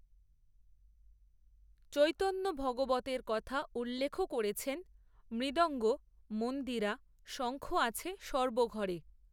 চৈতন্যভাগবতের কথা উল্লেখও করেছেন, মৃদঙ্গ, মন্দিরা, শঙ্খ আছে সর্ব ঘরে